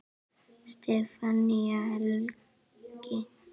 Stefán Helgi.